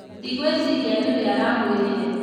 Ndingwĩciria nĩ we aramwĩrire